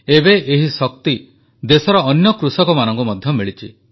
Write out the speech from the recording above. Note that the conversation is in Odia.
ଏବେ ଏହି ଶକ୍ତିର ଦେଶର ଅନ୍ୟ କୃଷକମାନଙ୍କୁ ମଧ୍ୟ ମିଳିଛି